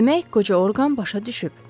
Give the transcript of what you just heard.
Demək, qoca Orqan başa düşüb.